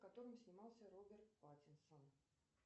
в котором снимался роберт паттинсон